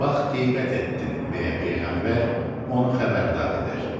Bax, qeybət etdin, deyə Peyğəmbər onu xəbərdar edir.